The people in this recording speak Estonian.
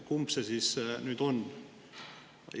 Kumb siis nüüd on?